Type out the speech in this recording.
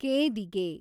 ಕೇದಿಗೆ